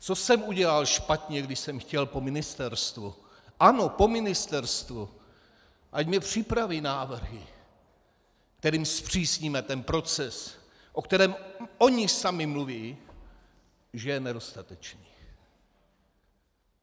Co jsem udělal špatně, když jsem chtěl po ministerstvu, ano po ministerstvu, ať mi připraví návrhy, kterými zpřísníme ten proces, o kterém oni sami mluví, že je nedostatečný.